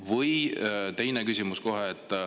Või teine küsimus.